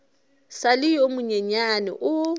sa le yo monyenyane o